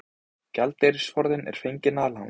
Gjaldeyrisforðinn er fenginn að láni